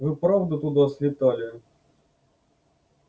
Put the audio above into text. вы правда туда слетали